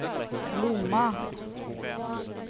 Lomma